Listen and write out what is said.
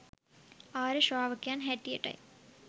ආර්ය ශ්‍රාවකයන් හැටියටයි.